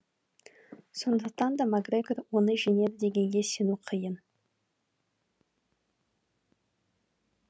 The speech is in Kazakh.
сондықтан да мак грегор оны жеңеді дегенге сену қиын